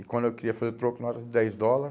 E quando eu queria fazer troco, nota de dez dólar.